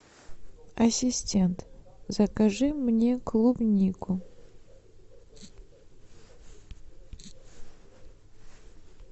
ассистент закажи мне клубнику